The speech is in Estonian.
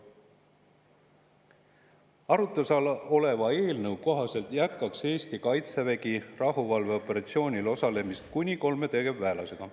Arutluse all oleva eelnõu kohaselt jätkaks Eesti kaitsevägi rahuvalveoperatsioonil osalemist kuni kolme tegevväelasega.